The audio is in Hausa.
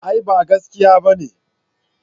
A'a ba gaskiya bane